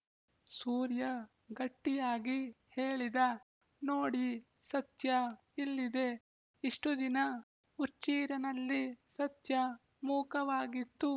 ಸೂರ್ಯ ಗಟ್ಟಿಯಾಗಿ ಹೇಳಿದ ನೋಡಿ ಸತ್ಯ ಇಲ್ಲಿದೆ ಇಷ್ಟುದಿನ ಹುಚ್ಚೀರನಲ್ಲಿ ಸತ್ಯ ಮೂಕವಾಗಿತ್ತು